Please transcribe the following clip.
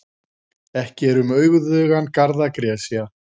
Ekki er um auðugan garð að gresja.